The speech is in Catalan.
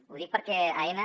ho dic perquè aena